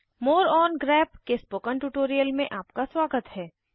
more on grep के spoken tutorial में आपका स्वागत है